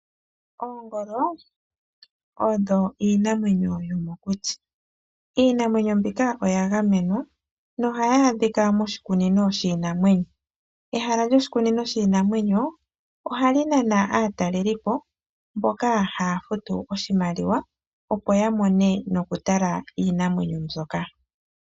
Oongolo odho iinamwenyo yomokuti. Iinamwenyo mbika oya gamenwa nohayi adhika moshikunino shiinamwenyo. Ehala lyoshikunino shiinamwenyo ohali nana aatalelipo mboka haya futu oshimaliwa opo ya mone, nokutala iinamwenyo mbyoka.